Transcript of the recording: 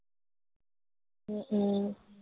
উম উম